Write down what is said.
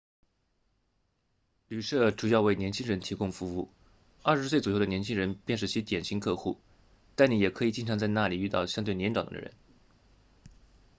旅舍主要为年轻人提供服务二十岁左右的年轻人便是其典型客户但你也可以经常在那里遇到相对年长的人